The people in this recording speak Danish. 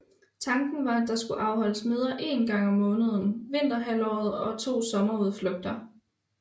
Tanken var at der skulle afholdes møder én gang om måneden vinterhalvåret og to sommerudflugter